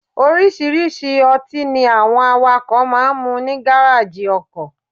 Oríṣiríṣi ọtí ni àwọn awakọ́ máa ń mu ní Gárájì ọkọ̀.